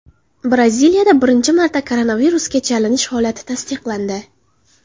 Braziliyada birinchi marta koronavirusga chalinish holati tasdiqlandi.